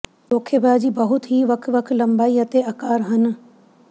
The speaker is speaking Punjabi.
ਧੋਖੇਬਾਜ਼ੀ ਬਹੁਤ ਹੀ ਵੱਖ ਵੱਖ ਲੰਬਾਈ ਅਤੇ ਅਕਾਰ ਹਨ